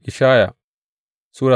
Ishaya Sura